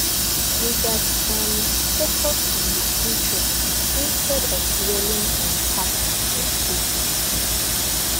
we gats um focus on the future instead of dwelling on past mistakes um